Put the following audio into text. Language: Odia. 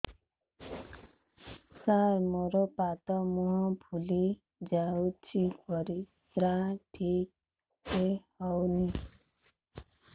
ସାର ମୋରୋ ପାଦ ମୁହଁ ଫୁଲିଯାଉଛି ପରିଶ୍ରା ଠିକ ସେ ହଉନି